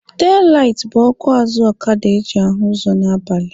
Telaitị bụ ọkụ azụ ọkada eji ahụ ụzọ n'abalị.